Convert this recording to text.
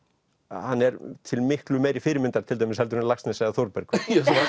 hann er til miklu meiri fyrirmyndar til dæmis heldur en Laxness eða Þórbergur